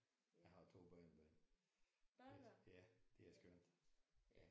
Jeg har 2 børnebørn. Ja det er skønt